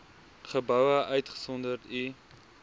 geboue uitgesonderd u